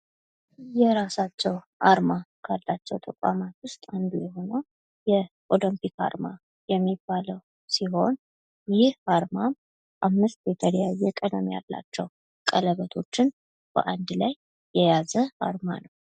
የራሳቸው አርማ ካላቸው ተቋማት ውስጥ አንዱ የሆነው የኦሎምፒክ አርማ የሚባለው ሲሆን ይህ አርማ አምስት የተለያየ ቀለም ያለውቸው ቀለበቶችን በአንድነት ላይ የያዘ አርማ ነው።